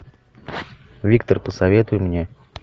виктор посоветуй мне